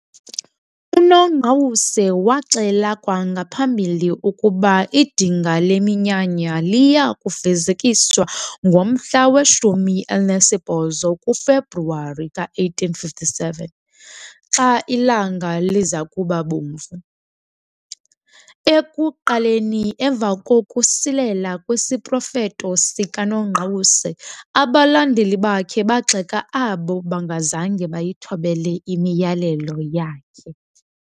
UNongqawuse waxela kwangaphambili ukuba idinga leminyanya liya kufezekiswa ngomhla weshumi elinesibhozo kuFebruwari ka1857, xa ilanga liza kuba bomvu. Ekuqaleni, emva kokusilela kwesiprofeto sikaNongqawuse, abalandeli bakhe bagxeka abo bangazange bayithobele imiyalelo yakhe.